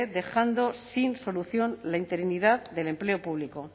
dejando sin solución la interinidad del empleo público